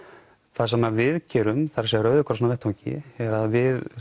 það sem við gerum það er Rauði krossinn á vettvangi er að við